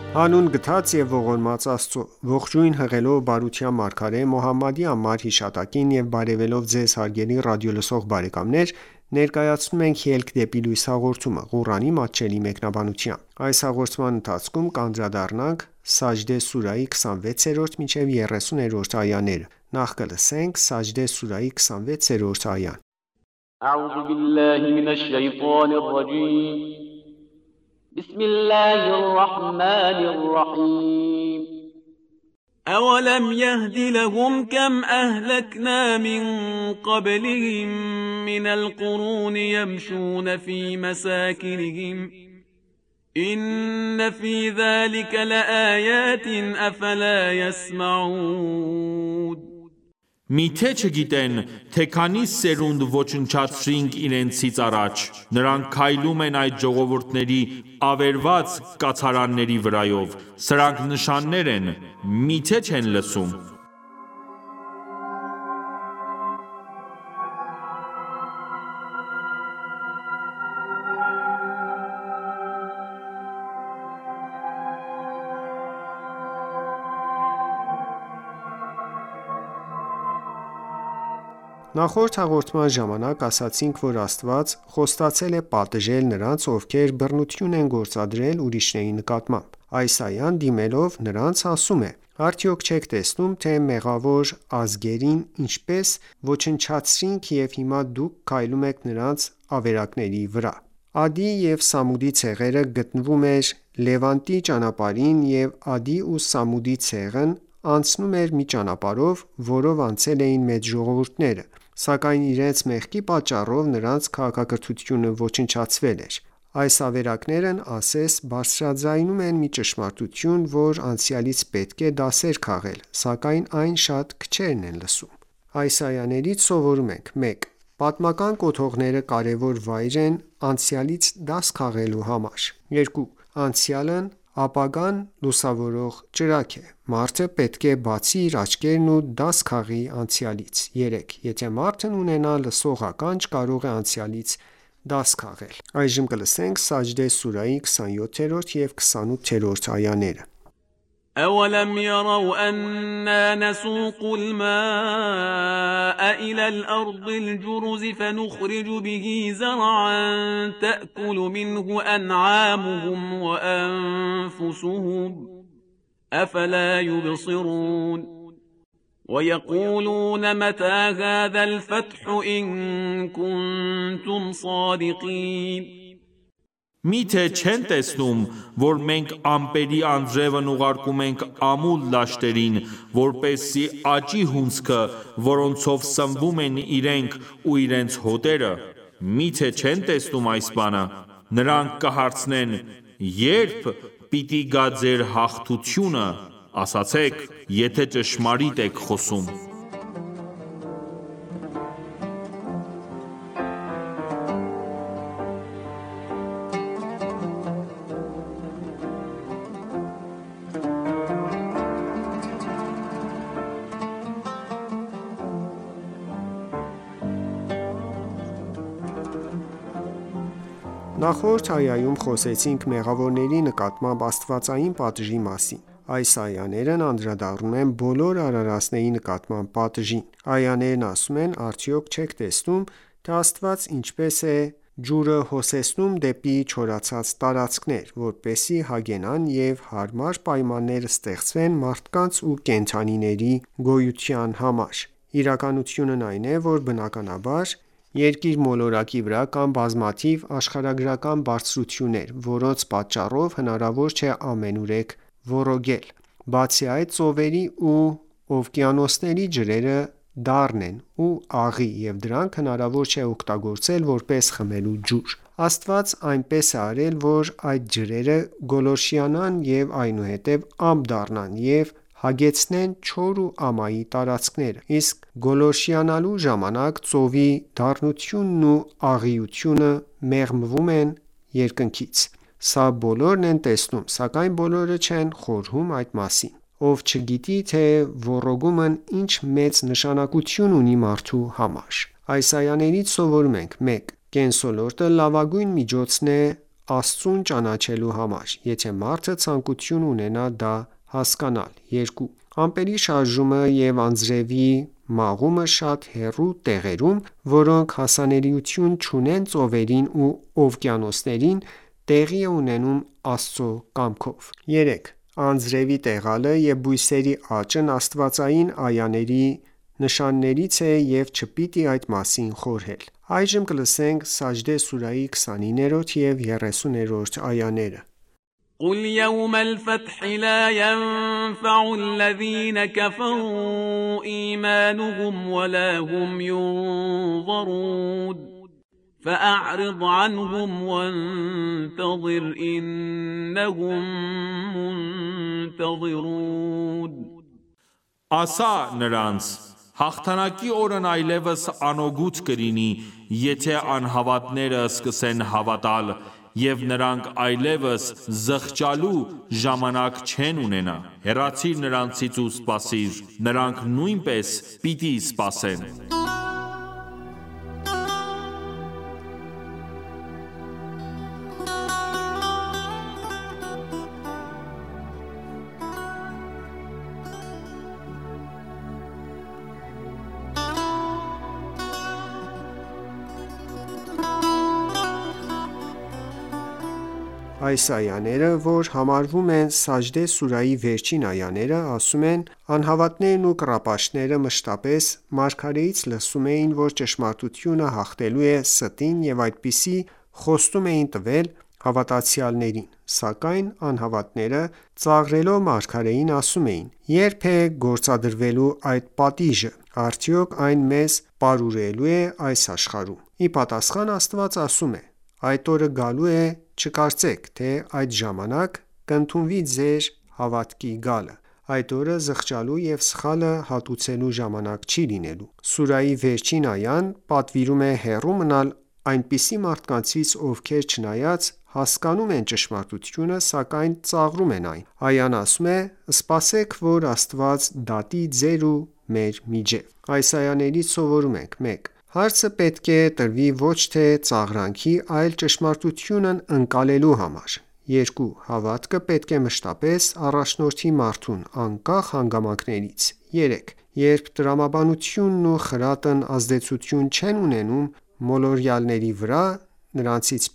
Հանուն գթած և ողորմած Աստծո: Ողջույն հղելով բարության մարգարե Մոհամմադի անմար հիշատակին եւ բարեւելով Ձեզ հարգելի ռադիոլսող բարեկամներ, ներկայացնում ենք «Ելք դեպի լույս» հաղորդումը, Ղուրանի մատչելի մեկնաբանությամբ: Սաջդե սուրահի 26-րդ այա Մի՞թե չգիտեն, թե քանի սերունդ ոչնչացրինք իրենցից առաջ: Նրանք քայլում են այդ ժողովուրդների (ավերված) կացարանների վրայով: Սրանք նշաններ են: Մի՞թե չեն լսում: Նախորդ հաղորդման ժամանակ ասացինք, որ Աստված խոստացել է պատժել նրանց, ովքեր բռնություն են գործադրել ուրիշների նկատմամբ: Այս այան, դիմելով նրանց, ասում է. «Արդյոք չեք տեսնում, թե մեղավոր ազգերին ինչպես ոնչացրեցինք և հիմա դուք քայլում եք նրանց ավերակների վրա: Ադի և Սամուդի ցեղը գտնվում էր Լևանտի ճանապարհին և Ադի ու Սամուդի ցեղն այնցնում էր մի ճանապարհով, որով անցել էին մեծ ժողովուրդները, սակայն իրենց մեղքի պատճառով, նրանց քաղաքակրթությունը ոչնչացվել էր: Այս ավերակներն ասես բարձրաձայնում են մի ճշմարտություն, որ անցյալից պետք է դասեր քաղել, սակայն այն շատ քչերն են լսում: Այս այայից սովորում ենք. 1. Պատմական կոթողները կարևոր վայր են անցյալից դաս քաղելու համար: 2. Անցյալն ապագան լուսավորող ճրագ: Մարդը պետք է բացի իր աչքերն ու դաս քաղի անցյալից: 3 .Եթե մարդն ունենա լսող ականջ, կարող է անցյալից դաս քաղել: 4. Պատմական կոթողների պահպանումը կարևոր է հատկապես նոր սերունդների համար, քանի որ նրանք պետք է դասեր քաղեն: Սաջդե սուրահի 27 և 28-րդ այաներ وَیَقُولُونَ مَتَىٰ هَٰذَا الْفَتْحُ إِنْ کُنْتُمْ صَادِقِینَ Մի՞թե չեն տեսնում, որ մենք ամպերի անձրևն ուղարկում ենք ամուլ դաշտերին, որպեսզի աճի հունձքը, որոնցով սնվում են իրենք ու իրենց հոտերը: Մի՞թե չեն տեսնում այս բանը: Նրանք կհարցնեն. «Ե՞րբ պիտի գա ձեր հաղթությունը: Ասացե՛ք, եթե ճշմարիտ եք խոսում»: Նախորդ այայում խոսեցինք մեղավորների նկատմամբ աստվածային պատժի մասին: Այս այաներն անդրադառնում են բոլոր արարածների նկատմամբ պատժին: Այաներն ասում են. «Արդյոք չե՞ք տեսնում, թե Աստված ինչպես է ջուը հոսեցնում դեպի չորացած տարածքներ, որպեսզի հագենան և հարմար պայմաններ ստեղծվեն մարդկանց ու կենդանիների գոյության համար: Իրականությունն այն է, որ բնականաբար երկիր մոլորակի վրա կան բազմաթիվ աշխարհագրական բարձրություններ, որոնց պատճառով հնարավոր չէ ամենուրեք ոռոգել: Բացի այդ, ծովերի ու օվկիանոսների ջրերը դառն են ու աղի և դրանք հնարավոր չէ օգտագործել որպես խմելու ջուր: Աստված այնպես է արել, որ այդ ջրերը գոլորշիանան և այնուհետև ամպ դառնան ու հագեցնեն չոր ու ամայի տարածքները: Իսկ գոլորշիանալու ժամանակ, ծովի դառնությունն ու աղիութունը մաղվում են երկնքից: Սա բոլորն են տեսնում, սակայն բոլորը չեն խորհում այդ մասին: Ով չգիտի, թե ոռոգումն ինչ մեծ նշանակություն ունի մարդու համար: Այս այաներիից սովորում ենք. 1. Կենսոլորտը լավագույն միջոցն է Աստծուն ճանաչելու համար, եթե մարդը ցանկություն ունենա դա հասկանալ: 2. Ամպերի շարժումը և անձրևի մաղումը շատ հեռու տեղերում, որոնք հասանելիություն չունեն ծովերին ու օվկիանոսներին, տեղի է ունենում Աստծու կամքով: 3. Անձրևի մաղելը և բույսերի աճն աստվածային այաների նշաններից է և չպիտի այդ մասին խորհել: Սաջդե սուրահի 29-րդ և 30-րդ այաներ قُلْ یَوْمَ الْفَتْحِ لَا یَنْفَعُ الَّذِینَ کَفَرُوا إِیمَانُهُمْ وَلَا هُمْ یُنْظَرُونَ فَأَعْرِضْ عَنْهُمْ وَانْتَظِرْ إِنَّهُمْ مُنْتَظِرُونَ Ասա (նրանց). «Հաղթանակի օրն այլևս անօգուտ կլինի, եթե անհավատները սկսեն հավատալ: Եվ նրանք այլևս (զղջալու) ժամանակ չեն ունենա: Հեռացիր նրանցից ու սպասիր: Նրանք նույնպես պիտի սպասեն: Այս այաները որ համարվում են Սաջդե սուրահի վերջին այաները, ասում են, «Անհավատներն ու կռապաշտները մշտապես մարգարեից լսում էին, որ ճշմարտությունը հաղթելու է ստին և այդպիսի խոստում էին տվել հավատացյալներին: Սակայն անհավատները, ծաղրելով մարգարեին, ասում էին. «Ե՞րբ է գործադրվելու այդ պատիժը: Արդյոք այն մեզ պարուրելո՞ւ է այս աշխարհում»: Ի ապատասխան, Աստված ասում է. «Այդ օրը գալու է և չկարծեք, թե այդ ժամանակ կընդունվի ձեր հավատքի գալը: Այդ օրը զղջալու և սխալը հատուցելու ժամանակ չի լինելու: Սուրահի վերջին այան պատվիրում է հեռու մնալ այսպիսի մարդկանցից, ովքեր չնայած հասկանոմ են ճշմարտությունը, սակայն ծաղրում են այն: Այան ասում է. «Սպասեք, որ Աստված դատի ձեր ու մեր միջև»: Այս այաներից սովորում ենք. 1. Հարցը պետք է տրվի ոչ թե ծաղրանքի, այլ ճշմարտությունն ընկալելու համար: 2. Հավատքը պետք է մշտապես առաջնորդի մարդուն, անկախ հանգամանքներից: 3. Երբ տրամաբանությունն ու խրատն ազդեցություն չեն ունենում մոլորյալների վրա, նրանցից